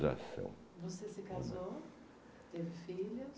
zação. Você se casou? Teve filho?